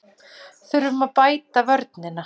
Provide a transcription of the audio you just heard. Þurfum að bæta vörnina